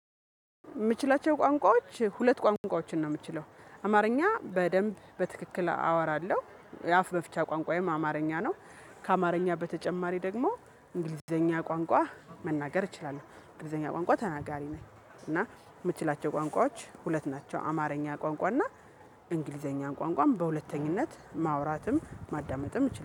የምችላቸው ቋንቋዎች ሁለት ቋንቋዎችን ነው የምችለው አማርኛ በደንብ በትክክል አወራለሁ የአፍ መፍቻ ቋንቋዬም አማርኛ ነው። ከአማርኛ በተጨማሪ ደግሞ እንግሊዘኛ ቋንቋ መናገር እችላለሁ እንግሊዘኛ ቋንቋ ተናጋሪ ነኝ። እና የምችላቸው ቋንቋዎች ሁለት ናቸው። አማርኛ ቋንቋ እና እንግሊዘኛ ቋንቋም በሁለተኝነት ማውራትም ማዳመጥም እችላለሁ